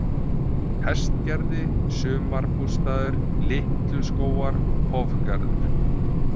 Hestgerði, Sumarbústaður, Litluskógar, Hofgarður